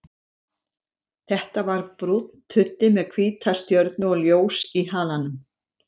Þetta var brúnn tuddi með hvíta stjörnu og ljós í halanum.